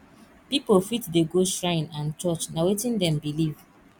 pipo fit dey go shrine and church na wetin dem believe